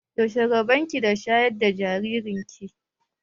Yaushe rabon ki da shayar da jaririn ki?